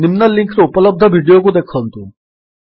ନିମ୍ନ ଲିଙ୍କ୍ ରେ ଉପଲବ୍ଧ ଭିଡିଓକୁ ଦେଖନ୍ତୁ